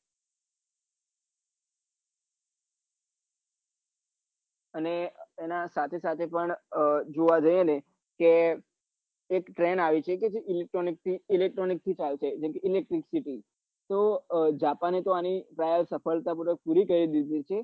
અને એના સાથે સાથે પન જોવા લીએ ને કે એક train આવી તી જે કે electronic થી ચાલે છે જાપાને તો આની ટ્રાયલ સફળતા પૂર્વક પૂરી કરી દીઘી હતી